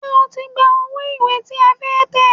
Ṣé o ti gba owó ìwé tí a fẹ́ tẹ̀?